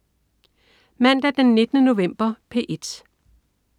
Mandag den 19. november - P1: